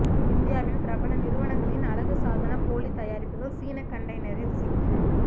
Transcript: இந்தியாவின் பிரபல நிறுவனங்களின் அழகு சாதனப் போலி தயாரிப்புகள் சீன கண்டெய்னரில் சிக்கின